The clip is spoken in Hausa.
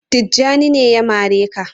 Tijjani ne ya mare ka?.